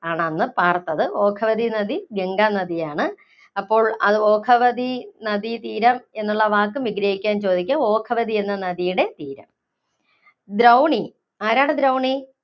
ആണന്ന് പാര്‍ത്തത്. ഓഘവതി നദി ഗംഗാനദിയാണ്. അപ്പോ അത് ഓഘവതി നദീതീരം എന്നുള്ള വാക്കും വിഗ്രഹിക്കാന്‍ ചോദിക്കും. ഓഘവതി എന്ന നദിയുടെ പേര്. ദ്രൗണി ആരാണ് ദ്രൗണി?